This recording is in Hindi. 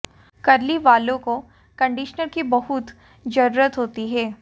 कर्ली बालों को कंडीशनर की बहुत जरुरत होती है